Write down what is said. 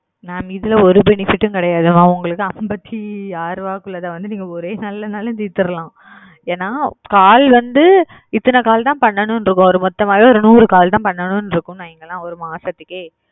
mam இதுல ஒரு fenifet கிடையாது mam உங்களுக்கு ஐம்பதியருபைக்குள்ளதா நீக்க ஒரே நல்ல கூட திதல்லம் என call வந்துஇதன call பண்ணனுமு இருக்கும் நுறு call பண்ணனுமு இருக்கும் ஒரு மாசத்துக்கே